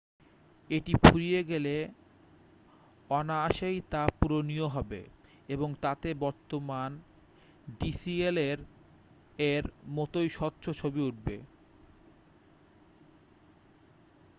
এটি ফুরিয়ে গেলে অনায়াসেই তা পূরণীয় হবে এবং তাতে বর্তমান ডিসিএলএর-এর মতোই স্বচ্ছ ছবি উঠবে